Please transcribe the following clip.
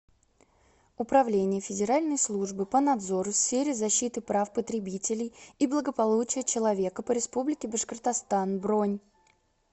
управление федеральной службы по надзору в сфере защиты прав потребителей и благополучия человека по республике башкортостан бронь